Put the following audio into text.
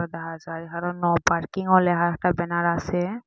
দেহা যায় এখানেও নো পার্কিংও লেহা একটা ব্যানার আসে।